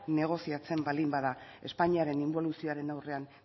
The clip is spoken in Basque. negoziatzen baldin bada espainiaren inboluzioaren aurrean